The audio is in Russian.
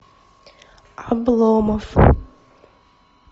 обломов